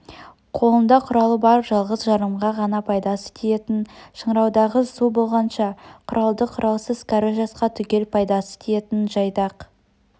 қолында құралы бар жалғыз-жарымға ғана пайдасы тиетін шыңыраудағы су болғанша құралды құралсыз кәрі жасқа түгел пайдасы тиетін жайдақ